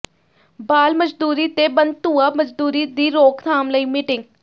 ਬਾਲ ਮਜ਼ਦੂਰੀ ਤੇ ਬੰਧੂਆ ਮਜ਼ਦੂਰੀ ਦੀ ਰੋਕਥਾਮ ਲਈ ਮੀਟਿੰਗ